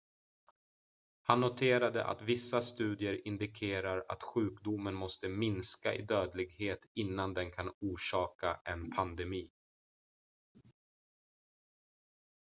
han noterade att vissa studier indikerar att sjukdomen måste minska i dödlighet innan den kan orsaka en pandemi